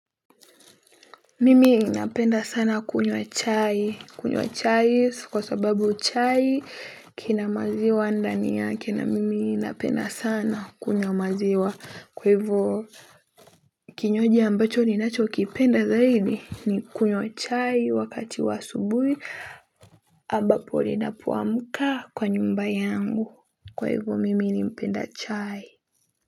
Mimi ninapenda sana kunywa chai. Kunywa chai kwa sababu chai kina maziwa ndani yake na mimi napenda sana kunywa maziwa. Kwa hivyo kinywaji ambacho ninacho kipenda zaidi ni kunywa chai wakati wa asubuhi ambapo ninapoamka kwa nyumba yangu. Kwa hivyo mimi napenda chai.